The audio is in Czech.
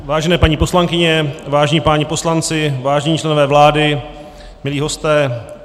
Vážené paní poslankyně, vážení páni poslanci, vážení členové vlády, milí hosté.